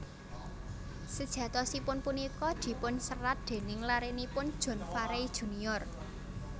Sejatosipun punika dipunserat déning larenipun John Farey Junior